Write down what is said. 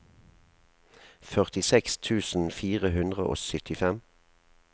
førtiseks tusen fire hundre og syttifem